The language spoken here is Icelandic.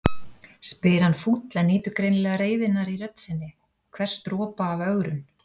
spyr hann fúll en nýtur greinilega reiðinnar í rödd sinni, hvers dropa af ögrun.